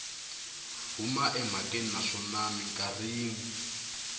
huma emhakeni naswona mikarhi yin